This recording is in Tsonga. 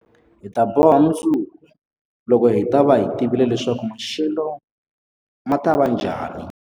Hi ta boha mundzuku, loko hi ta va hi tivile leswaku maxelo ma ta va njhani.